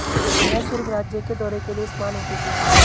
यह सिर्फ राज्य के दौरे के लिए इस्तेमाल होती थीं